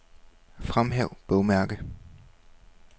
Fremhæv bogmærke.